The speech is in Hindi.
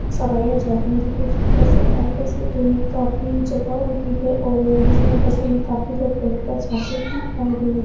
सवारियाँ जाती हैं जैसे की बस अड्डा है। बस अड्डे में काफी जगह होती है और जिसमे बसों मे काफी लोग बैठकर जाते हैं और --